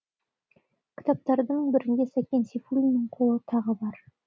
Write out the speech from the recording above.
кітаптардың бірінде сәкен сейфуллиннің қолы тағы бар